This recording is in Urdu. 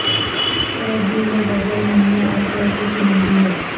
کہہ دی ہے غزل ہم نے اور کہہ کے سنا دی ہے